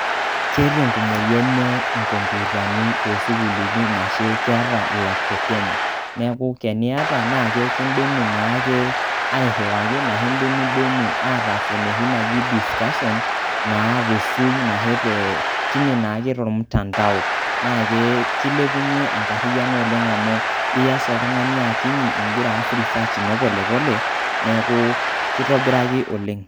Keeta enkumoyu enye inkompyutani toosukulini ashu keeta ilaptopi enye. Neeku teniyata naa kekindimi naake airriwaki ashu indimidimi ataasa enoshi naji discussion naa te soom ahe te tine naake tolmutandao. Naa keilepunye enkarriano oleng' amu iyas oltung'ani akinyi igira aas research ino pole pole neeku keitobiraki oleng'.